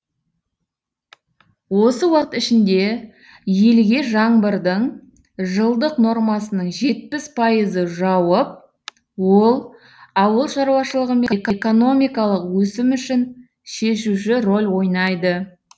осы уақыт ішінде елге жаңбырдың жылдық нормасының жетпіс пайызы жауып ол ауыл шаруашы экономикалық өсім үшін шешуші рөл ойнайды